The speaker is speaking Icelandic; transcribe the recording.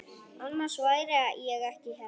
Annars væri ég ekki hérna.